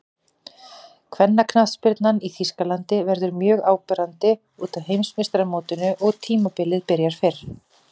Kvennaknattspyrnan í Þýskalandi verður mjög áberandi útaf Heimsmeistaramótinu og tímabilið byrjar fyrr.